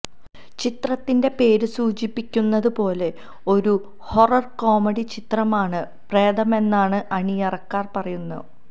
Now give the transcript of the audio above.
ചിത്രത്തിന്റെ പേര് സൂചിപ്പിക്കുന്നതു പോലെ ഒരു ഹൊറർ കോമഡി ചിത്രമാണ് പ്രേതമെന്നാണ് അണിയറക്കാർ പറയുന്നത്